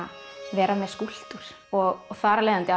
vera með skúlptúr og þar af leiðandi